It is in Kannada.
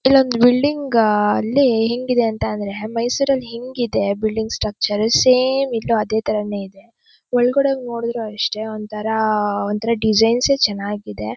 ಇಲ್ಲೊಂದ್ ಬಿಲ್ಡಿಂಗ್ ಅಲ್ಲಿ ಹೆಂಗಿದೆ ಅಂತ ಅಂದ್ರೆ ಮೈಸೂರ್ ಅಲ್ ಹೆಂಗ್ ಇದೆ ಬಿಲ್ಡಿಂಗ್ ಸ್ಟ್ರಕ್ಚರ್ ಸೇಮ್ ಇಲ್ಲೂ ಅದೇ ಥರನೇ ಇದೆ ಒಳಗಡೆ ಹೊಗ್ ನೋಡಿದ್ರು ಅಷ್ಟೇ ಒಂಥರಾ ಒಂಥರಾ ಡಿಸೈನ್ಸ್ ಸೆ ಚೆನ್ನಾಗಿದೆ .